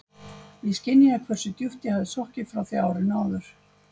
Ég skynjaði hversu djúpt ég hafði sokkið frá því árinu áður.